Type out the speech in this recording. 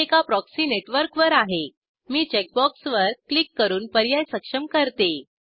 मी एका proxy network वर आहे मी चेकबॉक्सवर क्लिक करून पर्याय सक्षम करते